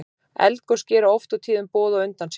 eldgos gera oft og tíðum boð á undan sér